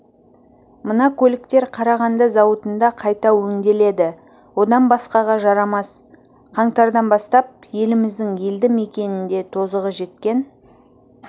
мына көліктер қарағанды зауытында қайта өңделеді одан басқаға жарамас қаңтардан бастап еліміздің елді мекенінде тозығы жеткен